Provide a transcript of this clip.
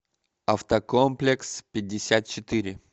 автокомплекс пятьдесят четыре